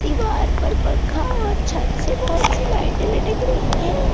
दीवार पर पंखा और छत से बहुत सी लाइटें लटक रही है दिन का --